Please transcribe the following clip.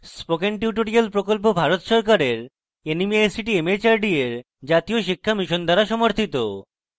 spoken tutorial প্রকল্প ভারত সরকারের nmeict mhrd এর জাতীয় শিক্ষা মিশন দ্বারা সমর্থিত